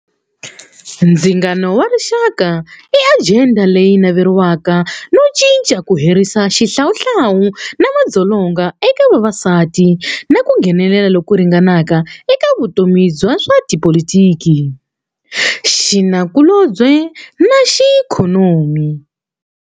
Ndzingano warixaka i ajenda leyi naveriwaka no cinca ku herisa xihlawuhlawu na madzolonga eka vavasati na ku nghenelela loku ringanaka eka vutomi bya swa tipolotiki, xinakulobye naxiikhonomi.